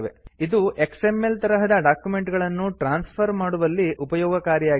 ಇದು ಎಕ್ಸ್ಎಂಎಲ್ ತರಹದ ಡಾಕ್ಯುಮೆಂಟ್ ಗಳನ್ನು ಟ್ರಾನ್ಸ್ಫರ್ ಮಾಡುವಲ್ಲಿ ಉಪಯೋಗಕಾರಿಯಾಗಿದೆ